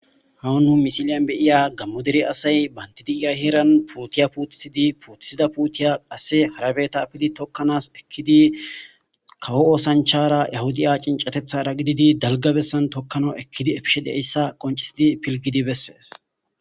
Hawunu misiliyan beiya gammoderi asay bandidiiya heeran puotiya puutisidi puutisida puutiya qasse harabeta apili tokkanas ekkidi kawo oosanchara yahudaa cincatethara gididi dalgabessan tokkana ekkidi efishe deeyssa qoncisidi pilgidi bessees